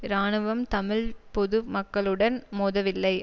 இராணுவம் தமிழ் பொது மக்களுடன் மோதவில்லை